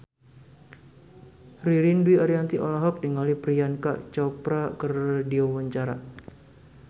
Ririn Dwi Ariyanti olohok ningali Priyanka Chopra keur diwawancara